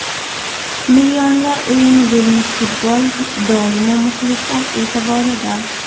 Millionlar o‘yini bo‘lmish futbol, doimo muxlislar e’tiborida.